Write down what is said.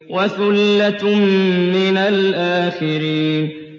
وَثُلَّةٌ مِّنَ الْآخِرِينَ